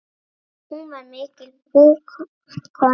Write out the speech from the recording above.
Hún var mikil búkona.